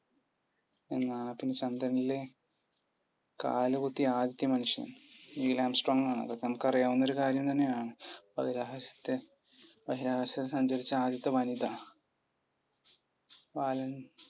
ചന്ദ്രനിലെ കാലുകുത്തിയ ആദ്യത്തെ മനുഷ്യൻ? നീലാംസ്‌ട്രോങ് ആണ്. അതൊക്കെ നമുക്ക് അറിയാവുന്നൊരു കാര്യം തന്നെയാണ് ബഹിരാകാശത്ത് സഞ്ചരിച്ച ആദ്യത്തെ വനിത? വാലൻ